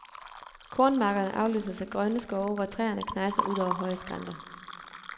Kornmarkerne afløses af grønne skove, hvor træerne knejser ud over høje skrænter.